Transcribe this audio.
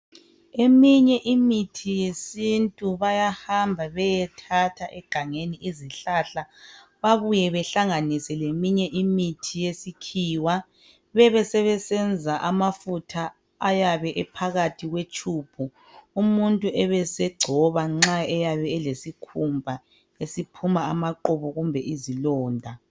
Eminye imithi yesintu bayahamba bayethatha egangeni izihlahla babuye behlanganise leminye imithi yesikhiwa bebesebesenza amafutha ayabe ephakathi kwetshubhu umuntu ebesegcoba nxa eyabe elesikhumba. esiphuma amaqubu kumbe izilonda.